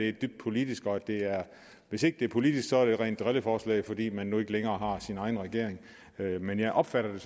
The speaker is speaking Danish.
er dybt politisk og hvis ikke det er politisk er det et rent drilleforslag fordi man nu ikke længere har sin egen regering men jeg opfatter